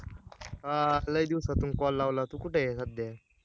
आ लय दिवसातुन call लावला तू कुठे आहे सध्या